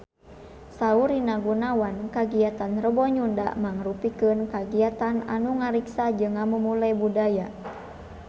Saur Rina Gunawan kagiatan Rebo Nyunda mangrupikeun kagiatan anu ngariksa jeung ngamumule budaya Sunda